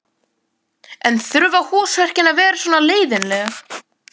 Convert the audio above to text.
En þurfa húsverkin að vera svona leiðinleg?